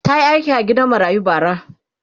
ta Yi aiki a gidan marayu bara